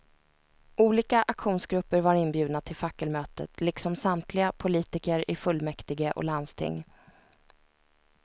Olika aktionsgrupper var inbjudna till fackelmötet, liksom samtliga politiker i fullmäktige och landsting.